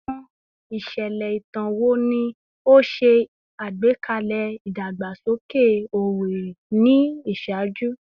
Awọn iṣẹlẹ itan wo ni o ṣe agbekalẹ idagbasoke Owerri ni iṣaaju?